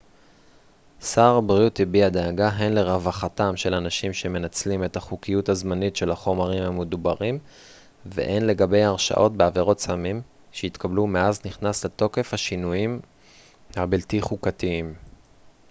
שר הבריאות הביע דאגה הן לרווחתם של אנשים שמנצלים את החוקיות הזמנית של החומרים המדוברים והן לגבי הרשעות בעבירות סמים שהתקבלו מאז נכנסו לתוקף השינויים הבלתי חוקתיים